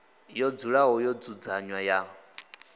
yo dzulaho yo dzudzanywa ya